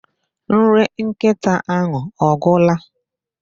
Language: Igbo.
Nri nkita ahụ ọ gwula?